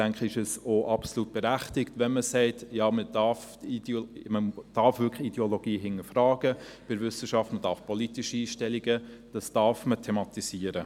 Deshalb denke ich, ist es auch absolut berechtigt, wenn man sagt: Ja, man darf bei der Wissenschaft Ideologie wirklich hinterfragen und politische Einstellungen thematisieren.